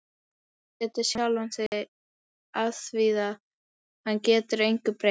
Og fyrirlíti sjálfan sig afþvíað hann getur engu breytt.